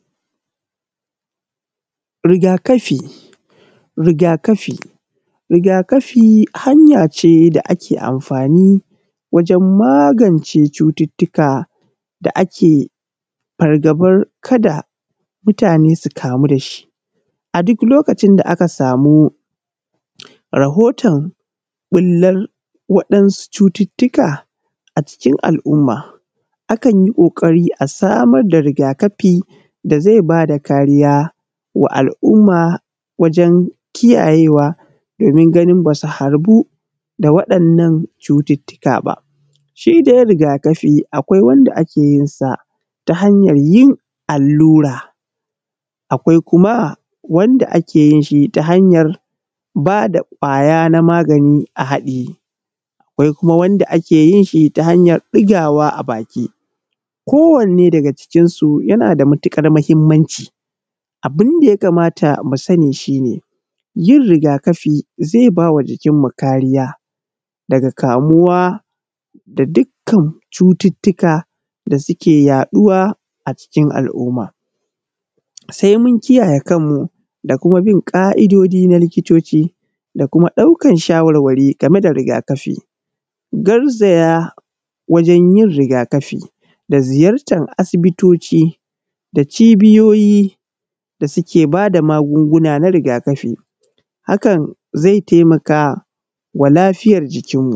Riga kafi riga kafi, riga kafi hanya ce da ake amfani wajen magance cututtuka da ake farbabar kada mutane su kamu da shi a duk lokacin da aka samu rahoton ɓillan waɗansu cutuutka a cikin al`umma akan yi ƙukari a samar da riga kafi da zai ba da kariya wa al`umma wajen kiyayewa domin ganin ba su harbu da waɗannan cututtuka ba, shi dai riga kafi akwai wanda ake yin sa ta hanyan yin allura, akwai kuma wanda ake yin shi ta hanyar ba da kwaya na magani a haɗiye, akwai kuma wanda ake yin shi ta hanyar ɗigawa a baki, kowanne daga cikin su yana da matuƙar mahimmanci abun da ya kamata mu sani shi yin riga kafi zai ba jikin mu kariya daga kamuwa da dukkan cututtuka da suke yaɗuwa a cikin al`umma, sai mun kiyaye kanmu da kuma bin ƙa`idoji na likitoci da kuma ɗaukan shawarwari game da riga kafi garzaya wajen yin riga kafi da ziyartan asibitoci da cibiyoyi da suke ba da magunguna na riga kafi hakan zai taimaka wa lafiyar jikin mu.